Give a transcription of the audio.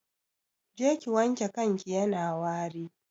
Je ki wanke kanki yana wari